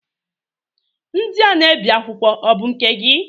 Ndị a na-ebi akwụkwọ ọ bụ nke gị?